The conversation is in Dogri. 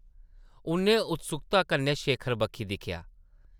उʼन्नै उत्सुकता कन्नै शेखर बक्खी दिक्खेआ ।